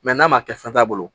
n'a ma kɛ fɛn t'a bolo